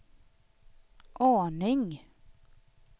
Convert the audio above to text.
aning